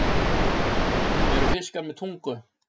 Eru fiskar með tungu?